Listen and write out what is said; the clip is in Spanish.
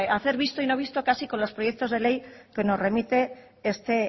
hacer visto y no visto casi con los proyectos de ley que nos remite este